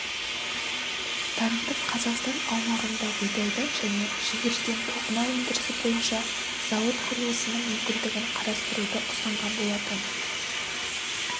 танытып қазақстан аумағында бидайдан және жүгеріден тоқыма өндірісі бойынша зауыт құрылысының мүмкіндігін қарастыруды ұсынған болатын